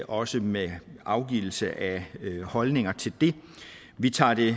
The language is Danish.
også med afgivelse af holdninger til det vi tager det